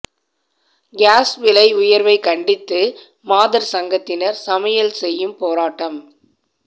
cos விலை உயர்வை கண்டித்து மாதர் சங்கத்தினர் சமையல் செய்யும் போராட்டம்